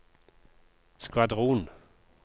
skvadron